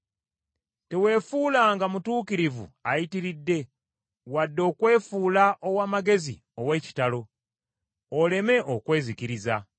Teweefuulanga mutuukirivu ayitiridde wadde okwefuula ow’amagezi ow’ekitalo; oleme okwezikiriza.